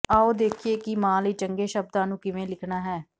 ਆਓ ਦੇਖੀਏ ਕਿ ਮਾਂ ਲਈ ਚੰਗੇ ਸ਼ਬਦਾਂ ਨੂੰ ਕਿਵੇਂ ਲਿਖਣਾ ਹੈ